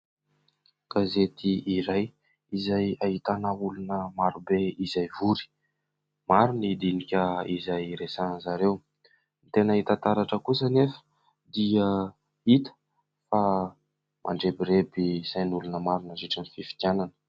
Gazety iray izay ahitana olona maro be izay vory. Maro ny dinika izay resahan-dry zareo. Tena hita taratra kosa anefa dia hita fa mandrebireby sain'olona maro nandritra ny fifidianana.